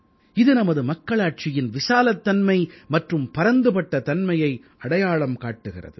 இது நமது மக்களாட்சியின் விசாலத்தன்மை மற்றும் பரந்துபட்ட தன்மையை அடையாளம் காட்டுகிறது